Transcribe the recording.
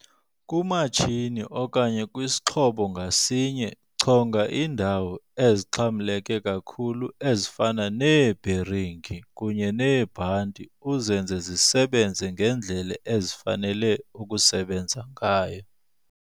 Kumatshini okanye kwisixhobo ngasinye chonga iindawo ezixhamleka kakhulu ezifana neebheringi kunye neebhanti uzenze zisebenze ngendlela ezifanele ukusebenza ngayo.